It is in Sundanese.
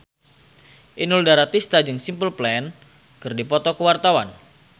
Inul Daratista jeung Simple Plan keur dipoto ku wartawan